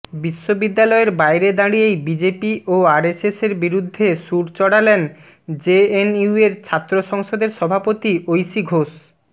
বিশ্ববিদ্যালয়ের বাইরে দাঁড়িয়েই বিজেপি ও আরএসএসের বিরুদ্ধে সুর চড়ালেন জেএনইউয়ের ছাত্র সংসদের সভাপতি ঐশী ঘোষ